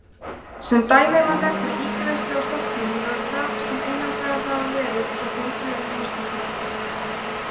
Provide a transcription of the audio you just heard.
Sem dæmi má nefna ígræðslu á stofnfrumum vöðva sem einangraðar hafa verið úr heilbrigðum einstaklingum.